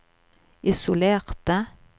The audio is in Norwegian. isolerte